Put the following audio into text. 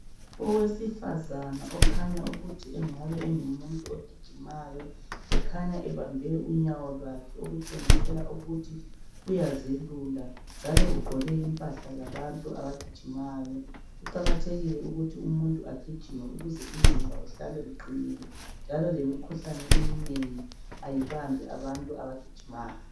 Owesifazana okhanya ukuthi engabe engumuntu ogijimayo. Ukhanya ebambe unyawo lwakhe. Okutshengisela ukuthi uyazelula. Kuqakathekile ukuthi umuntu agijime, ukuze umzimba uhlale uqinile, njalo lemikhuhlane eminengi kayibambi abantu abagijimayo.